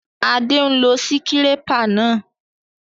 Adé n lo síkírépà náà